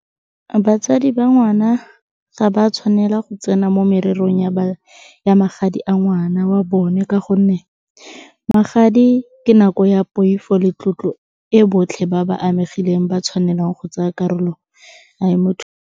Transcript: Batsadi ba ngwana ga ba tshwanela go tsena mo mererong ya magadi a ngwana wa bone, ka gonne magadi ke nako ya poifo le tlotlo e botlhe ba ba amegile ba tshwanelang go tsaya karolo .